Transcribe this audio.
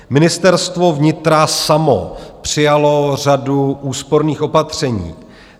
Ministerstvo vnitra samo přijalo řadu úsporných opatření.